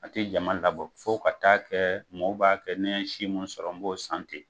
A tɛ jama labɔ fo ka taa kɛ mɔgɔ b'a kɛ ni n ye si min sɔrɔ n b'o san ten.